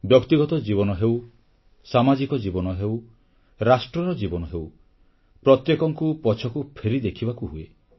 ବ୍ୟକ୍ତିଗତ ଜୀବନ ହେଉ ସାମାଜିକ ଜୀବନ ହେଉ ରାଷ୍ଟ୍ରର ଜୀବନ ହେଉ ପ୍ରତ୍ୟେକଙ୍କୁ ପଛକୁ ଫେରି ଦେଖିବାକୁ ହୁଏ